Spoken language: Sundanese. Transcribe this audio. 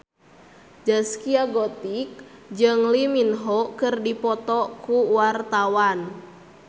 Zaskia Gotik jeung Lee Min Ho keur dipoto ku wartawan